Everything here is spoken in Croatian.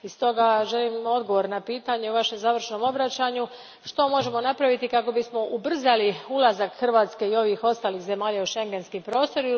I stoga želim odgovor na pitanje u Vašem završnom obraćanju, što možemo napraviti kako bismo ubrzali ulazak Hrvatske i ovih ostalih zemalja u schengenski prostor?